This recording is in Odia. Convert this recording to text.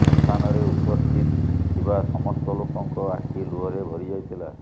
ଶ୍ମଶାନରେ ଉପସ୍ଥିତ ଥିବା ସମସ୍ତ ଲୋକଙ୍କ ଆଖି ଲୁହରେ ଭରି ଯାଇଥିଲା